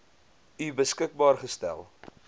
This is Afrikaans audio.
u beskikbaar gestel